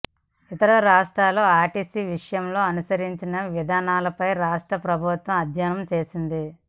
ఇతర రాష్ట్రాలు ఆర్టీసీ విషయంలో అనుసరించిన విధానాలపైనా రాష్ట్ర ప్రభుత్వం అధ్యయనం చేసింది